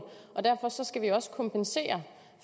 og derfor skal vi også kompensere